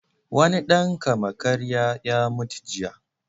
Wani ɗan kama-karya ya mutu jiya.